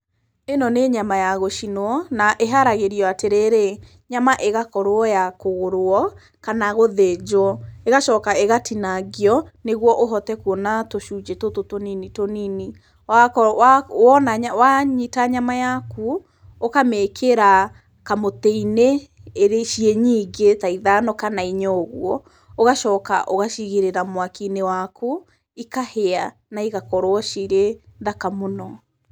Ĩno nĩ nyama ya gũcinwo na ĩharagĩrĩrio atĩrĩrĩ, nyama ĩgakorwo ya kũgũrwo kana gũthĩnjwo, ĩgacoka ĩgatinangio nĩguo ũhote kuona tũcunjĩ tũtũ tũnini, tũnini. Wanyita nyama yaku, ũkamĩkĩra kamũtĩ-inĩ ciĩ nyingĩ ta ithano kana inya ũguo ũgacoka ũgacigĩrĩra mwaki-inĩ waku ikahĩa na igakorwo cirĩ thaka mũno.